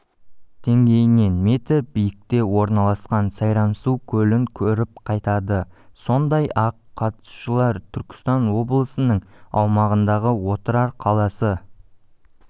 деңгейінен метр биікте орналасқан сайрамсу көлін көріп қайтады сондай-ақ қатысушылар түркістан облысының аумағындағы отырар қаласы